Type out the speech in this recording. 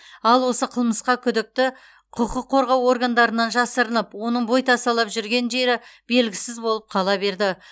ал осы қылмысқа күдікті құқық қорғау органдарынан жасырынып оның бойтасалап жүрген жері белгісіз болып қала берді